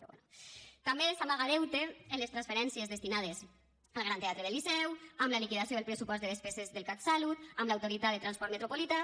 també s’amaga deute en les transferències destinades al gran teatre del liceu amb la liquidació del pressupost de despeses del catsalut amb l’autoritat del transport metropolità